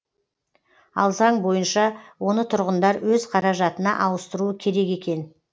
ал заң бойынша оны тұрғындар өз қаражатына ауыстыруы керек екен